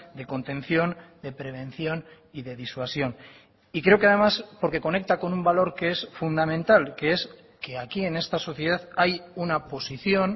de contención de prevención y de disuasión y creo que además porque conecta con un valor que es fundamental que es que aquí en esta sociedad hay una posición